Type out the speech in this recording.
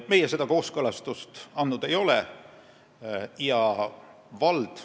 Meie seda kooskõlastust andnud ei ole.